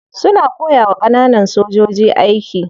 Suna koyawa kananan sojoji aiki.